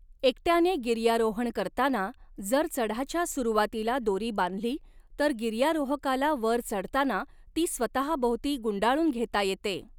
एकट्याने गिर्यारोहण करताना जर चढाच्या सुरुवातीला दोरी बांधली, तर गिर्यारोहकाला वर चढताना ती स्वतःभोवती गुंडाळून घेता येते.